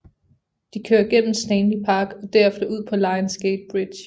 De kører gennem Stanley Park og derefter ud på Lions Gate Bridge